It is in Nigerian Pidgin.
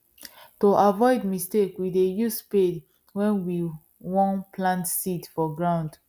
to avoid mistake we dey use spade wen we won plant seed for ground